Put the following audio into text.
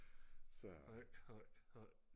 så